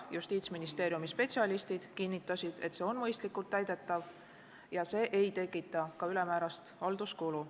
Justiitsministeeriumi spetsialistid kinnitasid, et see on mõistlikult täidetav ja see ei tekita ka ülemäärast halduskulu.